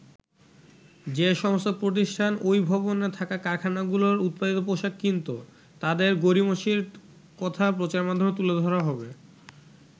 যে সমস্ত প্রতিষ্ঠান ওই ভবনে থাকা কারখানাগুলোর উৎপাদিত পোশাক কিনতো, তাদের গড়িমসির কথা প্রচারমাধ্যমে তুলে ধরা হবে।